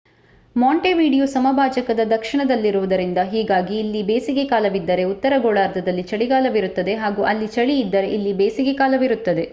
Montevideo ಸಮಭಾಜಕದ ದಕ್ಷಿಣದಲ್ಲಿರುವುದರಿಂದ ಹೀಗಾಗಿ ಇಲ್ಲಿ ಬೇಸಿಗೆ ಕಾಲವಿದ್ದರೆ ಉತ್ತರ ಗೋಳಾರ್ಧದಲ್ಲಿ ಚಳಿಗಾಲವಿರುತ್ತದೆ ಹಾಗೂ ಅಲ್ಲಿ ಚಳಿ ಇದ್ದರೆ ಇಲ್ಲಿ ಬೇಸಿಗೆ ಕಾಲವಿರುತ್ತದೆ